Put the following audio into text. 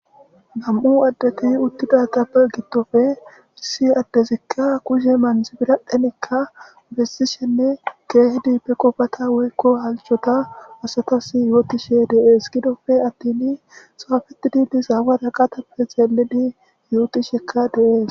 Nam7u addeti uttidatappe gidtoppe issi addezikka kushe manz biradhenekka bessishenne geehidi pe qofata woykko halchota asatas yootishe deees gidofe attin saafeti didi zaawada qatappe xeelidi yootishekka deees.